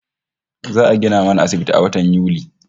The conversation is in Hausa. Za'a gina mana asibiti a watan Yuli